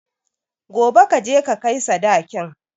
Gobe kaje ka kai sadakin